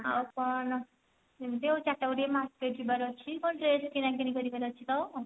ଆଉ କଣ ଏମିତି ଆଉ ଚାରିଟା ବେଳକୁ ଟିକେ market ଯିବାର ଅଛି କଣ dress କିଣାକିଣି କରିବାର ଅଛି ତ